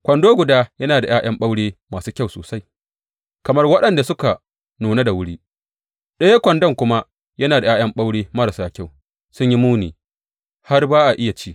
Kwando guda yana da ’ya’yan ɓaure masu kyau sosai, kamar waɗanda suka nuna da wuri; ɗayan kwandon kuma yana da ’ya’yan ɓaure marasa kyau, sun yi muni har ba a iya ci.